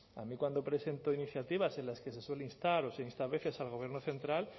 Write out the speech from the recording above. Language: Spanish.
a mí cuando presentó iniciativas en las que se suele instar o se insta a veces al gobierno central